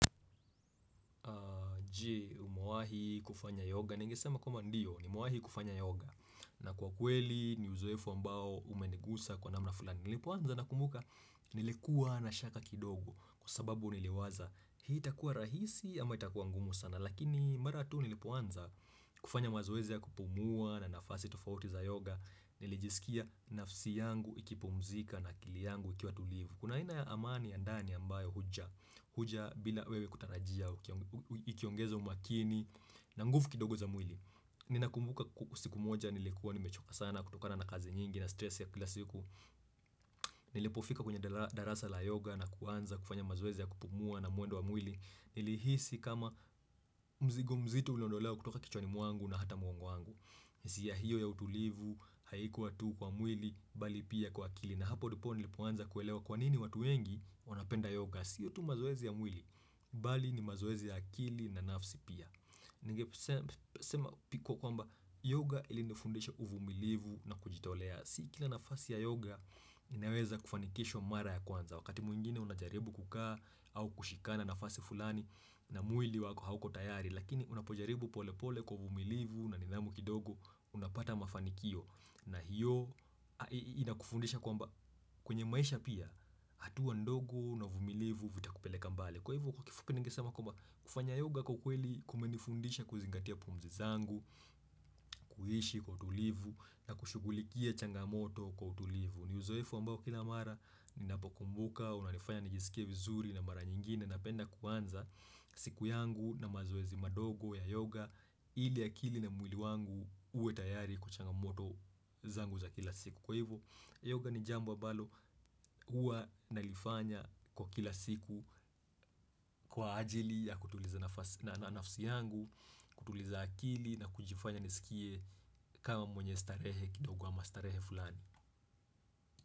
Je umawahi kufanya yoga Ningisema kwamba ndiyo nimewahi kufanya yoga na kwa kweli ni uzoefu ambao umenigusa kwa namna fulani Nilipoanza nakumbuka nilikuwa na shaka kidogo Kwa sababu niliwaza hii takua rahisi ama itakuwa ngumu sana Lakini maratu nilipoanza kufanya mazoezi ya kupumua na nafasi tofauti za yoga Nilijisikia nafsi yangu ikipumzika na akili yangu ikiwa tulivu Kuna aina amani ya ndani ambayo huja huja bila wewe kutarajia, ikiongezo umakini na nguvu kidogo za mwili Nina kumbuka siku moja nilikuwa ni mechoka sana kutokana na kazi nyingi na stress ya kila siku Nilipofika kwenye darasa la yoga na kuanza kufanya mazoezi ya kupumua na mwendo wa mwili Nilihisi kama mzigo mzito uliondolewa kutoka kichwani mwangu na hata mgongowangu hisia hiyo ya utulivu haikuwa tu kwa mwili bali pia kwa akili na hapo ndipo nilipoanza kuelewa kwanini watuwengi wanapenda yoga siyo tu mazoezi ya mwili, bali ni mazoezi ya akili na nafsi pia Nige sema piko kwamba yoga ilinifundisha uvumilivu na kujitolea Sikila nafasi ya yoga inaweza kufanikisho mara ya kwanza Wakati mwingine unajaribu kukaa au kushikana nafasi fulani na mwili wako hauko tayari Lakini unapojaribu pole pole kwa uvumilivu na nidhamu kidogo unapata mafanikio na hiyo inakufundisha kwamba kwenye maisha pia hatua ndogo na uvumilivu vitakupeleka mbali. Kwa hivo kwa kifupi ningesama kwa kufanya yoga kwa kweli kumenifundisha kuzingatia pumzi zangu, kuhishi kwa utulivu na kushugulikia changamoto kwa utulivu. Ni uzoefu ambao kila mara ni napokumbuka, unalifanya nijisikie vizuri na mara nyingine napenda kuanza siku yangu na mazoezi madogo ya yoga ili akili na mwili wangu uwe tayari kuchanga moto zangu za kila siku. Kwa hivo, yoga ni jambo ambalo hua nalifanya kwa kila siku kwa ajili ya kutuliza na nafasi yangu, kutuliza akili na kujifanya nisikie kama mwenye starehe kidogo ama starehe fulani.